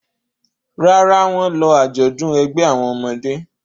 Rárá, wọ́n lọ àjọ̀dún ẹgbẹ́ àwọn ọmọdé.